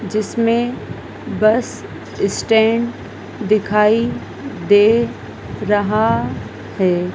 जिसमें bus stand दिखाई दे रहा है।